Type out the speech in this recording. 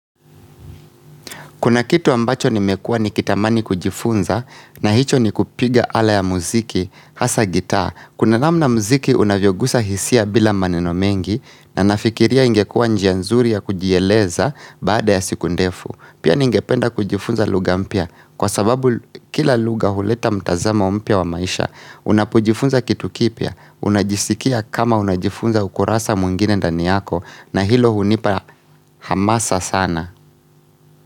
Kuna kitu ambacho nimekua ni kitamani kujifunza na hicho ni kupiga ala ya muziki, hasa gitaa. Kuna namna muziki unavyogusa hisia bila maneno mengi na nafikiria ingekua njianzuri ya kujieleza baada ya siku ndefu. Pia ningependa kujifunza luga mpya kwa sababu kila luga huleta mtazamo mpya wa maisha. Unapojifunza kitu kipya, unajisikia kama unajifunza ukurasa mwingine ndani yako na hilo hunipa hamasa sana.